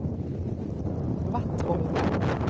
Vattholma